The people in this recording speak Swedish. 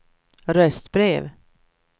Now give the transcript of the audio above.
röstbrev